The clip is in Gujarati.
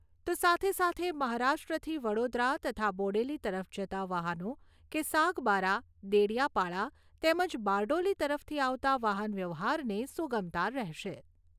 તો સાથે સાથે મહારાષ્ટ્રથી વડોદરા તથા બોડેલી તરફ જતા વાહનો કે સાગબારા, દેડિયાપાડા તેમજ બારડોલી તરફથી આવતા વાહનવ્યવહારને સુગમતા રહેશે.